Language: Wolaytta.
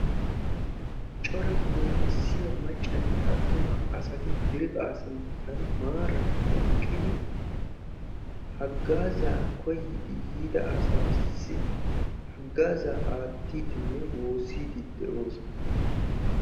Cora goyinissiya maccanne attuma asati dere asaa sinttan maaran eqqidi haggaazzaa koyyidi yiida asatussi haggaazzaa aattiiddinne woossiiddi de'oosona.